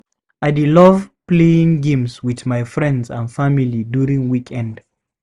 I dey love playing games with my friends and family during weekend.